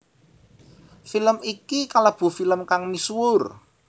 Film iki kalebu film kang misuwur